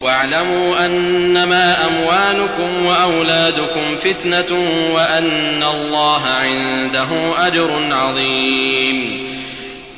وَاعْلَمُوا أَنَّمَا أَمْوَالُكُمْ وَأَوْلَادُكُمْ فِتْنَةٌ وَأَنَّ اللَّهَ عِندَهُ أَجْرٌ عَظِيمٌ